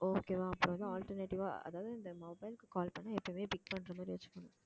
okay வா அப்பதான் alternative ஆ அதாவது இந்த mobile க்கு call பண்ணா எப்பயுமே pick பண்ற மாதிரி வச்சுக்கணும்